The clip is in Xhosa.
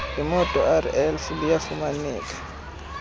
lemoto rlf liyafumaneka